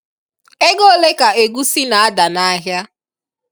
Ego ole ka egusi na-ada n'ahịa?